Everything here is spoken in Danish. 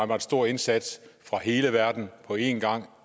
meget stor indsats af hele verden på en gang og